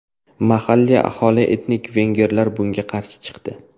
Mahalliy aholi – etnik vengerlar bunga qarshi chiqdi.